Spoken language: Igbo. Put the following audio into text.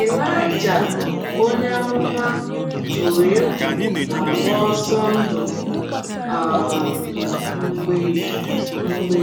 Ịlaịja onye amụma tụrụ egwu ma gbaa ọsọ ndụ um mgbe mgbe